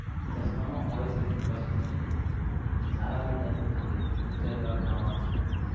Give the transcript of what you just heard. ચશ્માં માં હોય છે શું કશું નહી સારા ભી નથી ખાલી picture જોવા કામ આવશે તને